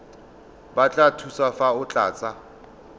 batla thuso fa o tlatsa